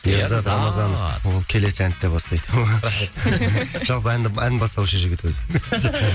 ерзат рамазанов ол келесі әнді де бастайды жалпы әнді ән бастаушы жігіт өзі